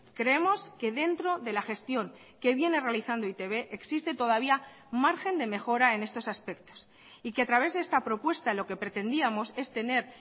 creemos que dentro de la gestión que viene realizando e i te be existe todavía margen de mejora en estos aspectos y que a través de esta propuesta lo que pretendíamos es tener